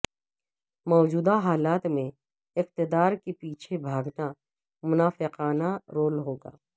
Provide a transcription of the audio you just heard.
موجودہ حالات میں اقتدار کے پیچھے بھاگنا منافقانہ رول ہوگا